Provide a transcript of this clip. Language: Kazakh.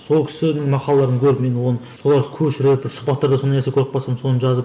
сол кісінің мақалаларын көріп мен оны соларды көшіріп бір сұхбаттарда сондай нәрсе көріп қалсам соны жазып